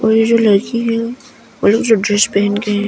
और ये जो लड़की है वो लोग जो ड्रेस पहन के हैं।